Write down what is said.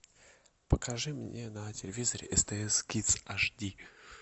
покажи мне на телевизоре стс кидс аш ди